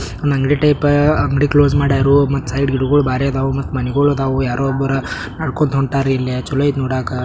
ಅವ್ನು ಅಂಗಡಿ ಟೈಪ್ ಅಂಗಡಿ ಕ್ಲೋಸ್ ಮಾಡೋರು ಮತ್ತೆ ಸೈಡ್ಗೆ ಹೋಗೋ ಬರಿಯ ಒಬ್ಬರ ಅವ್ನು ಮನೆಗೆ ಒಗರು ಯಾರೋ ಒಬ್ರ ನಡ್ಕೊಂಡು ನಡೆದು ಕೊಂಡು ಒಂಟಾರಿ ಚಲು ಅಯ್ತಿ ನೋಡಾಕ.